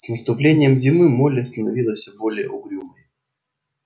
с наступлением зимы молли становилась всё более угрюмой